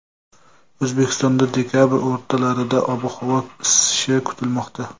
O‘zbekistonda dekabr o‘rtalarida ob-havo isishi kutilmoqda.